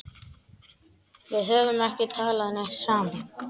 Við höfum ekki talað neitt saman.